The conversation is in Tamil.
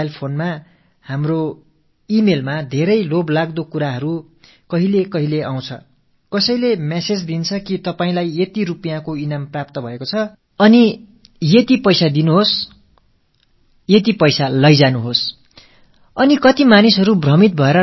நமது மொபைல் போனில் நமது மின்னஞ்சலில் எல்லாம் இப்படிப்பட்ட மிகவும் கவரக்கூடிய விஷயங்கள் வருகின்றன என்ற தகவல் உங்கள் எல்லாருக்கும் தெரிந்திருக்கும் உங்களுக்கு குறிப்பிட்ட ஒரு தொகை பரிசாகக் கிடைத்திருக்கிறது நீங்கள் குறிப்பிட்ட ஒரு கட்டணத்தை செலுத்தி அதைப் பெற்றுக் கொள்ளலாம் என்று யாரோ ஒருவர் தகவல் அனுப்பியிருப்பார்